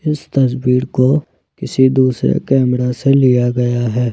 इस तस्वीर को किसी दूसरे कैमरा से लिया गया है।